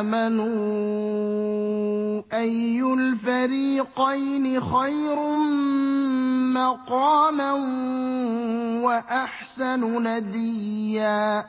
آمَنُوا أَيُّ الْفَرِيقَيْنِ خَيْرٌ مَّقَامًا وَأَحْسَنُ نَدِيًّا